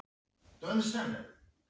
Ég var langt niðri og kveið framtíðinni.